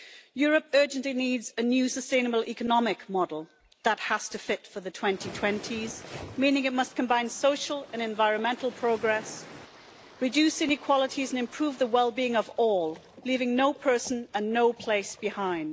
Europe urgently needs a new sustainable economic model that has to fit for the 2020s, meaning that it must combine social and environmental progress, reduce inequalities and improve the well being of all, leaving no person and no place behind.